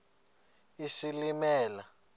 isilimela